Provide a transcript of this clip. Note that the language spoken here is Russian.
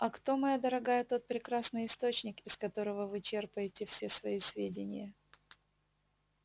а кто моя дорогая тот прекрасный источник из которого вы черпаете все свои сведения